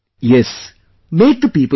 Yes, make the people understand